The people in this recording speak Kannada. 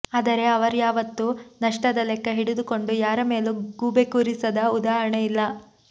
ಆದರೆ ಅವರ್ಯಾವತ್ತೂ ನಷ್ಟದ ಲೆಕ್ಕ ಹಿಡಿದುಕೊಂಡು ಯಾರ ಮೇಲೂ ಗೂಬೆ ಕೂರಿಸಿದ ಉದಾಹರಣೆ ಇಲ್ಲ